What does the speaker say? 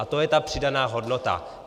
A to je ta přidaná hodnota.